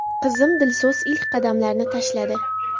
Qizim Dilso‘z ilk qadamlarini tashladi.